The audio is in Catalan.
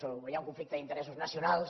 o hi ha un conflicte d’interessos nacionals